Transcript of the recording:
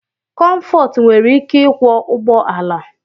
Comfort nwere ike ịkwọ ụgbọ ala